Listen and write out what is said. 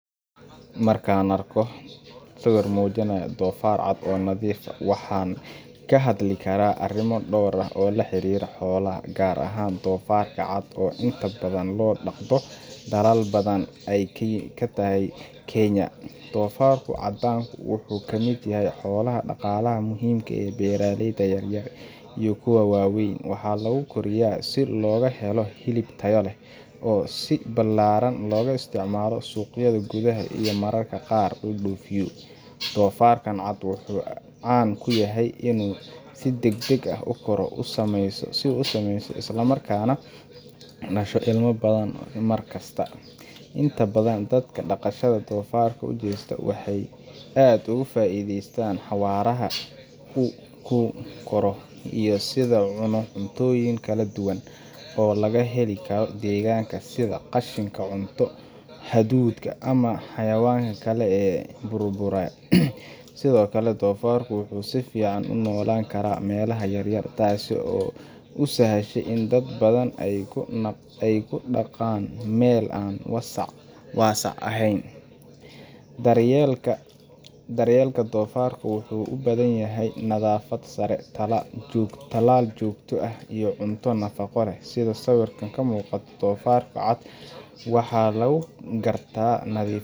markaan arko sawir muujinaya doofaar cad oo nadiif ah, waxaan ka hadli karaa arrimo dhowr ah oo la xiriira xoolahan, gaar ahaan doofaarka cad oo inta badan loo dhaqdo dalal badan oo ay kamid tahay Kenya. Doofaarka caddaanku wuxuu ka mid yahay xoolaha dhaqaalaha muhiimka u leh beeraleyda yaryar iyo kuwa waaweyn. Waxaa lagu koriyo si looga helo hilib tayo leh, oo si ballaaran looga isticmaalo suuqyada gudaha iyo mararka qaar loo dhoofiyo. Doofaarkan cad wuxuu caan ku yahay inuu si degdeg ah u koro, u samaysmo, isla markaana dhasho ilmo badan mar kasta. Inta badan dadka dhaqashada doofaarka u jeesta waxay aad uga faa’iidaystaan xawaaraha uu ku koro iyo sida uu u cuno cuntooyin kala duwan, oo laga heli karo deegaanka, sida qashinka cunto, hadhuudhka ama xayawaan kale oo burburay. Sidoo kale, doofaarku wuxuu si fiican ugu noolaan karaa meelaha yar yar, taas oo u sahasha in dad badan ay ku dhaqaan meelo aan waasac ahayn. Daryeelka doofaarka wuxuu u baahan yahay nadaafad sare, talaal joogto ah, iyo cunto nafaqo leh. Sida sawirka ka muuqata, doofaarka cad waxaa lagu gartaa nadiif